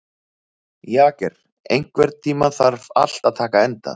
Jagger, einhvern tímann þarf allt að taka enda.